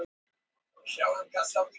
Já, hvað heldurðu!